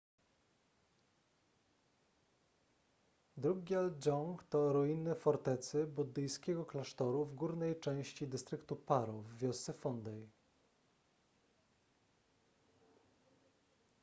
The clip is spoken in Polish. drukgyal dzong to ruiny fortecy i buddyjskiego klasztoru w górnej części dystryktu paro w wiosce phondey